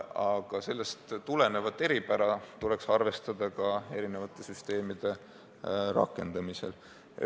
Aga sellest tulenevat eripära tuleks arvestada eri süsteemide rakendamisel.